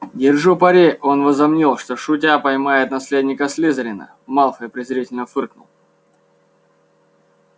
держу пари он возомнил что шутя поймает наследника слизерина малфой презрительно фыркнул